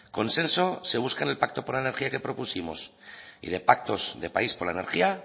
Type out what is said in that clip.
consenso se busca en el pacto por la energía que propusimos y de pactos de país por la energía